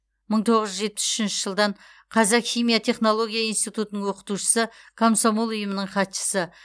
мың тоғыз жүз жетпіс үшінші жылдан қазақ химия технология институтының оқытушысы комсомол ұйымының хатшысы